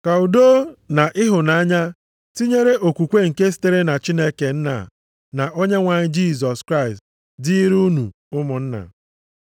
Ka udo na ịhụnanya, tinyere okwukwe nke sitere na Chineke Nna na Onyenwe anyị Jisọs Kraịst dịịrị unu ụmụnna.